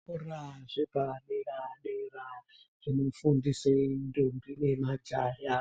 Zvikora zvepadera dera zvinofundise mtombi nemajaya